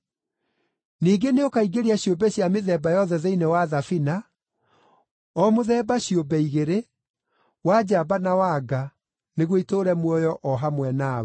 Ningĩ nĩũkaingĩria ciũmbe cia mĩthemba yothe thĩinĩ wa thabina, o mũthemba ciũmbe igĩrĩ, wa njamba na wa nga, nĩguo itũũre muoyo, o hamwe nawe.